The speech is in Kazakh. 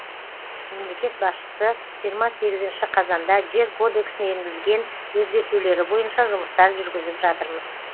мемлекет басшысы жиырма сегізінші қазанда жер кодексіне енгізген өзгертулері бойынша жұмыстар жүргізіп жатырмыз